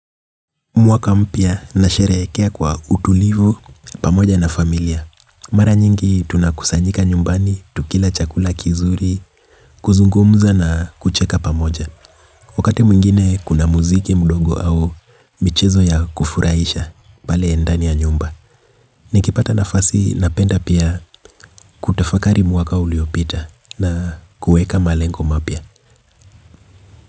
Mwaka mpya nasherehekea kwa utulivu, pamoja na familia. Mara nyingi tunakusanyika nyumbani, tukila chakula kizuri, kuzungumza na kucheka pamoja. Wakati mwingine kuna muziki mdogo au michezo ya kufurahisha, pale ndani ya nyumba. Nikipata nafasi napenda pia kutafakari mwaka uliopita na kueka malengo mapya.